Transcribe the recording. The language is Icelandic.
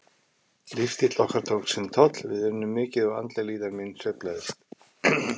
Lífsstíll okkar tók sinn toll, við unnum mikið og andleg líðan mín sveiflaðist.